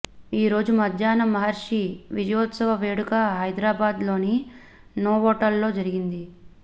ఈరోజు మధ్యాహ్నం మహర్షి విజయోత్సవ వేడుక హైదరాబాద్ లోని నోవాటెల్ లో జరిగింది